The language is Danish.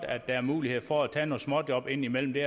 at der er mulighed for at tage nogle småjob indimellem det